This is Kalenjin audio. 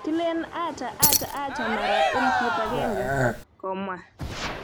"Kilen acha, acha, acha mara elfut agenge,"komwa.